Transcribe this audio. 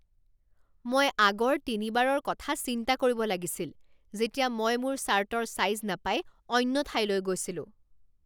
মই আগৰ তিনিবাৰৰ কথা চিন্তা কৰিব লাগিছিল যেতিয়া মই মোৰ চাৰ্টৰ ছাইজ নাপাই অন্য ঠাইলৈ গৈছিলোঁ।